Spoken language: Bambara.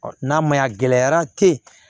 n'a ma ɲa gɛlɛyara te ye